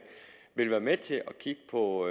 vil være med til at kigge på